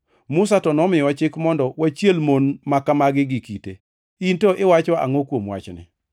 Musa to nomiyowa chik mondo wachiel mon ma kamago gi kite. In to iwacho angʼo kuom wachni?”